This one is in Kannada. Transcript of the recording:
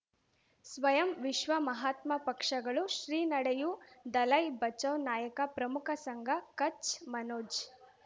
ಸ್ವಯಂ ವಿಶ್ವ ಮಹಾತ್ಮ ಪಕ್ಷಗಳು ಶ್ರೀ ನಡೆಯೂ ದಲೈ ಬಚೌ ನಾಯಕ ಪ್ರಮುಖ ಸಂಘ ಕಚ್ ಮನೋಜ್